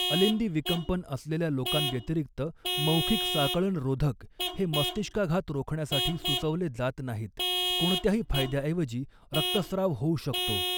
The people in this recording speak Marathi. अलिंदी विकंपन असलेल्या लोकांव्यतिरिक्त मौखिक साकळणरोधक हे मस्तिष्काघात रोखण्यासाठी सुचवले जात नाहीत, कोणत्याही फायद्याऐवजी रक्तस्राव होऊ शकतो.